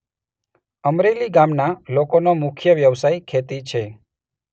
અમરેલી ગામના લોકોનો મુખ્ય વ્યવસાય ખેતી છે.